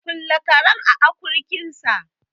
Kule karen a akurkinsa